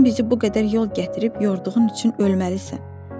Sən bizi bu qədər yol gətirib yorduğun üçün ölməlisən.